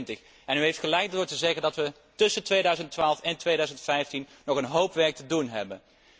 2020. U heeft gelijk als u zegt dat we tussen 2012 en 2015 nog een hoop werk te doen hebben.